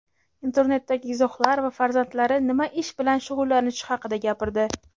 internetdagi izohlar va farzandlari nima ish bilan shug‘ullanishi haqida gapirdi.